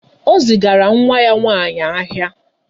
O zigara nwa ya nwaanyị ahịa.